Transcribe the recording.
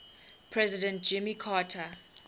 president jimmy carter